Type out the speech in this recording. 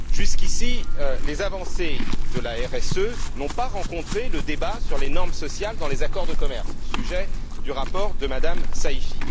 Jusqu'ici, les avancées de la RSE n'ont pas rencontré le débat sur les normes sociales dans les accords de commerce, sujet du rapport de Mme Saïfi.